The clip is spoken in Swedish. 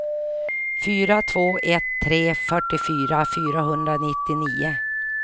fyra två ett tre fyrtiofyra fyrahundranittionio